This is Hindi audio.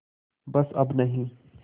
बस अब नहीं